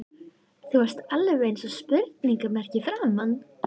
Þú varst alveg eins og spurningarmerki í framan.